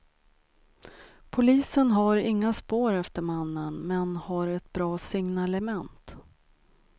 Polisen har inga spår efter mannen, men har ett bra signalement.